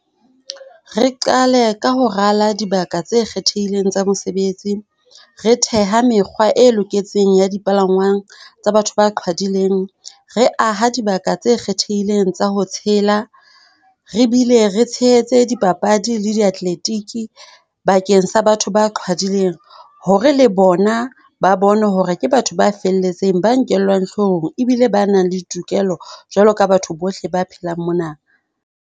Re qale ka ho rala dibaka tse kgethehileng tsa mesebetsi. Re theha mekgwa e loketseng ya dipalangwang tsa batho ba qhwadileng. Re aha dibaka tse kgethehileng tsa ho tshela. Re bile re tshehetse dipapadi le di-athletic bakeng sa batho ba qhwadileng hore le bona ba bone hore ke batho ba felletseng, ba nkellwang hloohong ebile ba nang le tokelo jwalo ka batho bohle ba phelang mona.